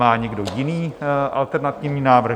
Má někdo jiný alternativní návrh?